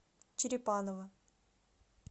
черепаново